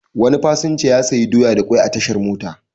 Wani fasinja ya sayi doya da kwai a tashar mota.